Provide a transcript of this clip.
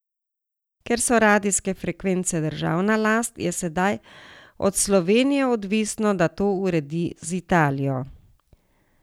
Ker so radijske frekvence državna last, je sedaj od Slovenije odvisno, da to uredi z Italijo.